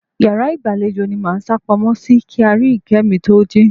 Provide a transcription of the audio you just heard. Yàrá ìgbàlejò ni mo máa sápamọ́ sí kí Aríyìíkẹ́ mi to jí.